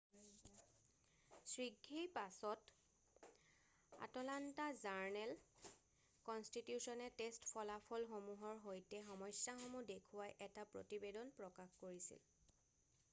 শীঘ্ৰেই পাছত আটলান্টা জাৰ্ণেল-কনষ্টিটিউছনে টেষ্ট ফলাফলসমূহৰ সৈতে সমস্যাসমূহ দেখুৱাই এটা প্ৰতিবেদন প্ৰকাশ কৰিছিল৷